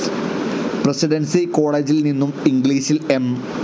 Presidency കോളേജിൽ നിന്നും ഇംഗ്ലീഷിൽ എം.